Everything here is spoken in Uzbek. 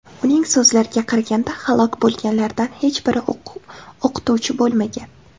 Uning so‘zlariga qaraganda, halok bo‘lganlardan hech biri o‘qituvchi bo‘lmagan.